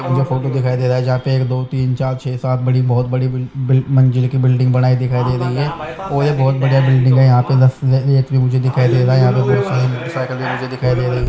और दिखाई दे रहा है जहा पे दो तीन चार छे सात बड़ी बहोत बड़ी बिल-बिल मंजिल की बिल्डिंग बनाई दिखाई दे रही है और यह बहोत बढ़िया बिल्डिंग है यहाँ पे दिखाई दे रही है।